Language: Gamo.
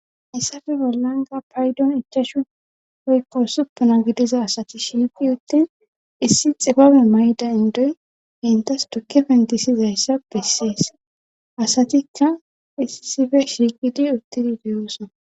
yssafe bollanga paydon ichashu poykko supuna gidiza asati shiiqi uttin issi xibabe mayda indoy hentas tukke pentisizayssa bessiyes asatikka hisisife shiiqidi uttidi deyoosona